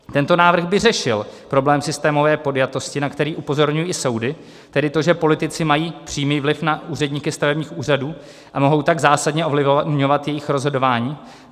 Tento návrh by řešil problém systémové podjatosti, na který upozorňují i soudy, tedy to, že politici mají přímý vliv na úředníky stavebních úřadů a mohou tak zásadně ovlivňovat jejich rozhodování.